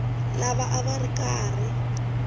lava a va ri karhi